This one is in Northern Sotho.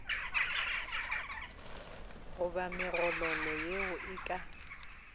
goba megololo yeo e ka